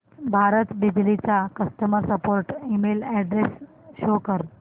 भारत बिजली चा customer support email address show कर